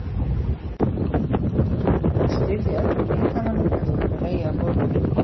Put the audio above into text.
Hún var stirð í öllum líkamanum eftir að hafa legið á gólfinu.